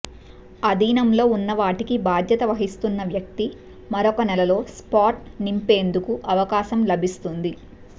ఆధీనంలో ఉన్నవాటికి బాధ్యత వహిస్తున్న వ్యక్తి మరొక నెలలో స్పాట్ నింపేందుకు అవకాశం లభిస్తుంది